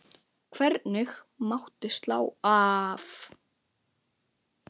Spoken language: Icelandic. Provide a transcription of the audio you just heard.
Hvergi mátti slá af.